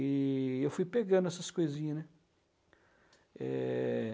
E eu fui pegando essas coisinha, né? Eh...